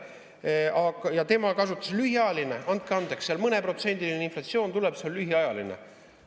Tema kasutas "lühiajaline": andke andeks, seal mõneprotsendiline inflatsioon tuleb, see on lühiajaline.